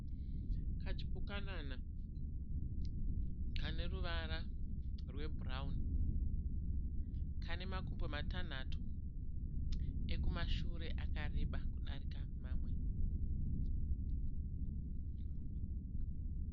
Kachipukanana kane ruvara rwebhurauni. Kane makumbo matanhatu. Ekumashure akareba kudarika mamwe.